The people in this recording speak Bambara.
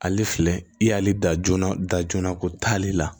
Ale filɛ i y'ale da joona da joona ko taale la